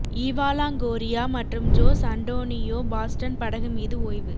Eva Longoria மற்றும் Jose Antonio Baston படகு மீது ஓய்வு